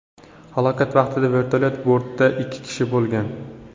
Halokat vaqtida vertolyot bortida ikki kishi bo‘lgan.